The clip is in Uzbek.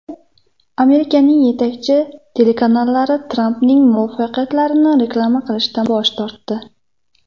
Amerikaning yetakchi telekanallari Trampning muvaffaqiyatlarini reklama qilishdan bosh tortdi .